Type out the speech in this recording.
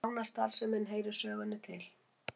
Lánastarfsemin heyrir sögunni til